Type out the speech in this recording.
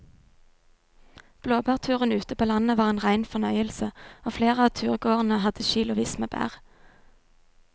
Blåbærturen ute på landet var en rein fornøyelse og flere av turgåerene hadde kilosvis med bær.